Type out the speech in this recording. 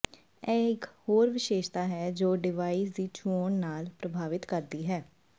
ਇਹ ਇੱਕ ਹੋਰ ਵਿਸ਼ੇਸ਼ਤਾ ਹੈ ਜੋ ਡਿਵਾਈਸ ਦੀ ਚੋਣ ਨੂੰ ਪ੍ਰਭਾਵਿਤ ਕਰਦੀ ਹੈ